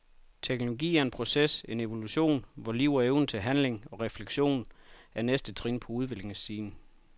Teknologi er en proces, en evolution, hvor liv og evnen til handling og refleksion er næste trin på udviklingsstigen.